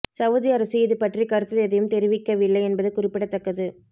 Saudi அரசு இது பற்றி கருத்து எதையும் தெரிவிக்கவில்லை என்பது குறிப்பிடத்தக்கது